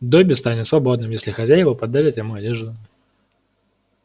добби станет свободным если хозяева подарят ему одежду